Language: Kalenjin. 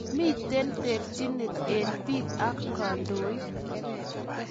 Miten terchinet en pik ak kandoik